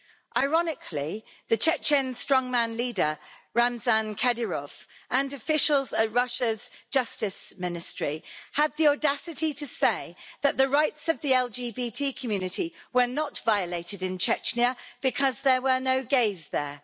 Ironically, the Chechen strongman leader, Ramzan Kadyrov, and officials at Russia's Justice Ministry have the audacity to say that the rights of the LGBT community were not violated in Chechnya because there were no gays there.